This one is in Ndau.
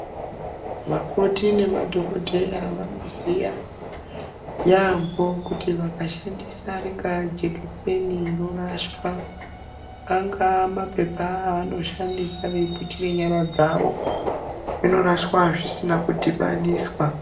Vakoti nema dhokodheya vanoziya yaampho kuti vakashandisa ringaa jekiseni rorashwa, angaa maphepha evanoshandisa veiputire nyara dzavo, zvinorashwa zvisina kudhibaniswa.